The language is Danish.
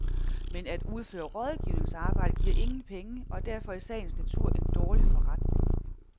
Men at udføre rådgivningsarbejde giver ingen penge og er derfor i sagens natur en dårlig forretning.